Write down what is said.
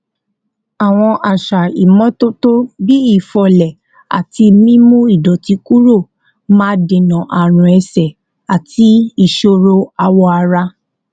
àwọn àṣà ìmótótó bí fífọlé àti mímú ìdòtí kúrò máa dènà àrùn ẹsè àti ìṣòro awọ ara